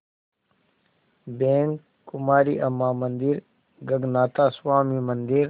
bank Kumari Amman मंदिर गगनाथा स्वामी मंदिर